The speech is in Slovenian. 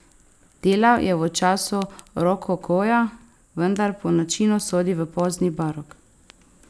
Delal je v času rokokoja, vendar po načinu sodi v pozni barok.